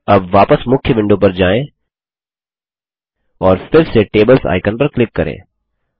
अब वापस मुख्य विंडो पर जाएँ और फिर से टेबल्स आइकन पर क्लिक करें